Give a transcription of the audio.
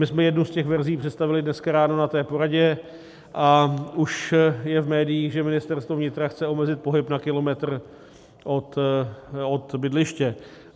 My jsme jednu z těch verzí představili dneska ráno na té poradě a už je v médiích, že Ministerstvo vnitra chce omezit pohyb na kilometr od bydliště.